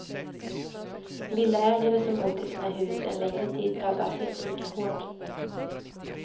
Villaägare som bott i sina hus en längre tid drabbas inte lika hårt.